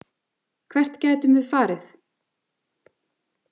Hvert gætum við farið?